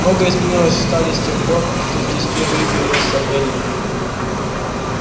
многое изменилось в таре с тех пор кто здесь впервые появилась эллин